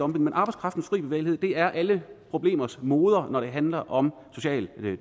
men arbejdskraftens fri bevægelighed er alle problemers moder når det handler om social